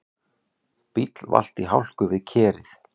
Bíll valt í hálku við Kerið